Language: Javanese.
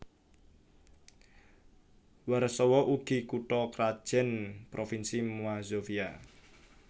Warsawa ugi kutha krajan provinsi Mazovia